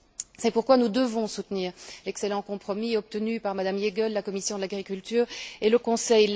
C'est pourquoi nous devons soutenir l'excellent compromis obtenu par Mme Jeggle, de la commission de l'agriculture, et le Conseil.